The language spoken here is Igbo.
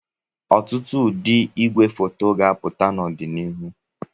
Ọtụtụ ụdị igwefoto ga-apụta n'ọdịnihu